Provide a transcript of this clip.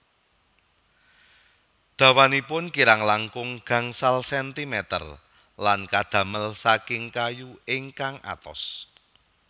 Dawanipun kirang langkung gangsal sentimeter lan kadamel saking kayu ingkang atos